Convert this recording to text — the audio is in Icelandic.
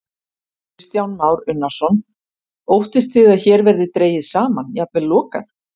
Kristján Már Unnarsson: Óttist þið að hér verði dregið saman, jafnvel lokað?